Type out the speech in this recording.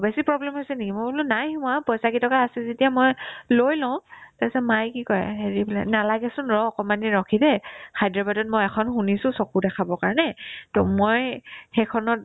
বেছি problem হৈছে নেকি মই বোলো নাই হোৱা পইচাকেইটকা আছে যেতিয়া মই লৈ লও তাৰপিছত মাই কি কই হেৰি বোলে নালাগেচোন ৰ' অকমানদিন ৰখি দে হায়দৰাবাদত মই এখন শুনিছো চকু দেখাব কাৰণে to মই সেইখনত